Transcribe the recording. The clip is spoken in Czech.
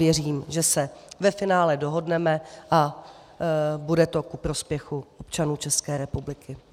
Věřím, že se ve finále dohodneme a bude to ku prospěchu občanů České republiky.